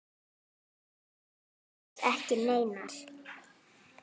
Áætlun riðlast um nokkra daga.